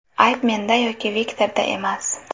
Ayb menda yoki Viktorda emas.